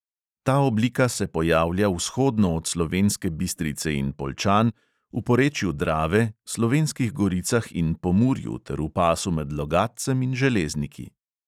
Ta oblika se pojavlja vzhodno od slovenske bistrice in poljčan, v porečju drave, slovenskih goricah in pomurju ter v pasu med logatcem in železniki.